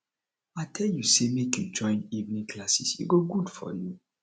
i tell you say make you join evening classes e go good for you